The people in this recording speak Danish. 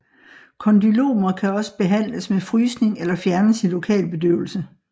Kondylomer kan også behandles med frysning eller fjernes i lokalbedøvelse